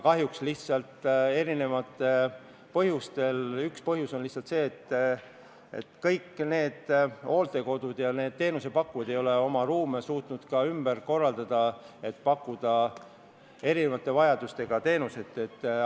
Kahjuks mitmel põhjusel – üks neist on see, et kõik hooldekodud ja teenusepakkujad ei ole suutnud veel oma ruume ümber korraldada – ei suudeta pakkuda erisuguseid teenuseid kõiksugu vajadusteks.